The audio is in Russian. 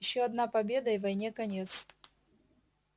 ещё одна победа и войне конец